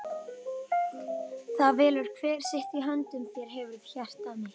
það velur hver sitt- í höndum þér hefurðu hjarta mitt.